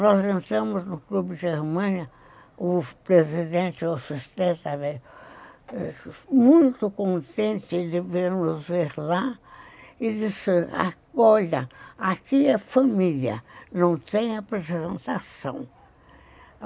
Nós entramos no Clube de Germânia, o presidente, o assistente, estava muito contente de ver-nos lá, e disse, olha, aqui é família, não tem apresentação.